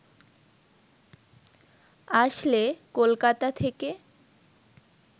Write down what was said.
আসলে কলকাতা থেকে